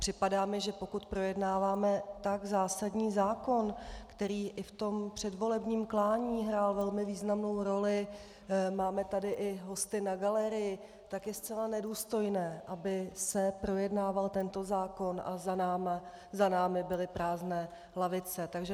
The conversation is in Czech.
Připadá mi, že pokud projednáváme tak zásadní zákon, který i v tom předvolebním klání hrál velmi významnou roli, máme tady i hosty na galerii, tak je zcela nedůstojné, aby se projednával tento zákon a za námi byly prázdné lavice.